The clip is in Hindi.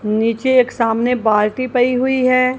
नीचे एक सामने बाल्टी पई हुई है।